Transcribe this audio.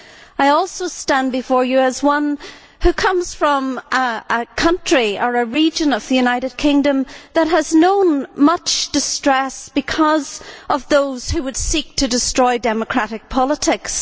I also stand before you as one who comes from a country, or region, of the United Kingdom that has known much distress because of those who would seek to destroy democratic politics.